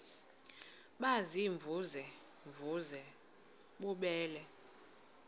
baziimvuze mvuze bububele